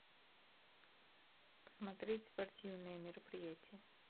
смотреть спортивные мероприятия